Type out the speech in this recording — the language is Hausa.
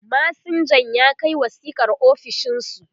masinjan ya Kai wasiƙar ofishinsu